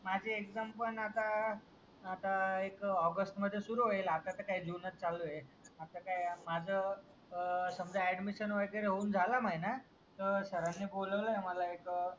माझी एक्साम पण आता आता एक औगस्ट मध्ये सुरु होईलात आता तर काय जुनाच चालू ए आत काय माझं अड्डमिशन होऊन झालाय महिना तर सरानी बोलावलंय मला एक